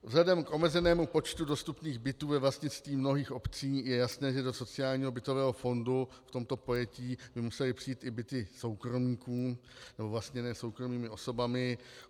Vzhledem k omezenému počtu dostupných bytů ve vlastnictví mnohých obcí je jasné, že do sociálního bytového fondu v tomto pojetí by musely přijít i byty soukromníků, nebo vlastněné soukromými osobami.